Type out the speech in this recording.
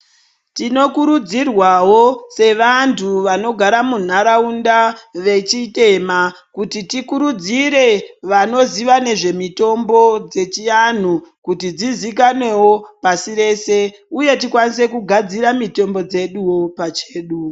Tinokurudzirwawo sevantu vanogara munharaunda vechitema kuti tikurudzire vanoziva nezvemitombo dzechianhu kuti dzizikanwewo pasi rese uye tikwanise kugadzira mitombo dzeduwo pachedu.